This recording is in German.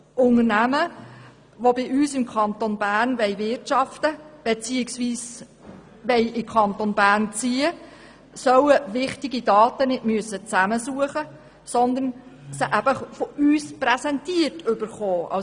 Unternehmen, die im Kanton Bern wirtschaften, beziehungsweise in den Kanton Bern ziehen wollen, sollen wichtige Daten nicht zusammensuchen müssen, sondern von uns präsentiert erhalten.